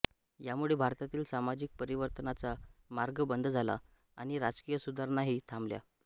यामुळे भारतातील सामाजिक परिवर्तनाचा मार्ग बंद झाला आणि राजकीय सुधारणाही थांबल्या